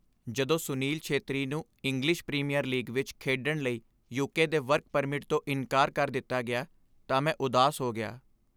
ਜਦੋਂ ਸੁਨੀਲ ਛੇਤਰੀ ਨੂੰ English Premier League ਵਿੱਚ ਖੇਡਣ ਲਈ ਯੂਕੇ ਦੇ ਵਰਕ ਪਰਮਿਟ ਤੋਂ ਇਨਕਾਰ ਕਰ ਦਿੱਤਾ ਗਿਆ, ਤਾਂ ਮੈਂ ਉਦਾਸ ਹੋ ਗਿਆ।